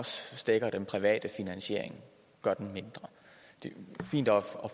stækker den private finansiering og gør den mindre det er fint at